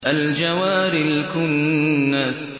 الْجَوَارِ الْكُنَّسِ